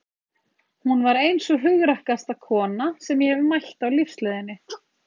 Hún var ein sú hugrakkasta kona sem ég hefi mætt á lífsleiðinni.